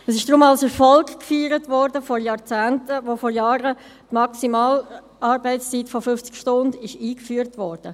Es wurde daher vor Jahrzehnten als Erfolg gefeiert, als vor Jahren die Maximalarbeitszeit von 50 Stunden eingeführt wurde.